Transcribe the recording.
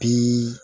Bi